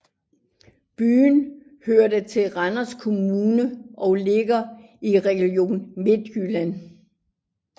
Byen hører til Randers Kommune og ligger i Region Midtjylland